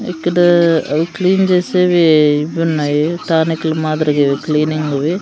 ఇక్కడ అవి క్లీన్ చేసేవి ఇవున్నాయి టానిక్ లు మాదిరిగివి క్లీనింగ్ వి --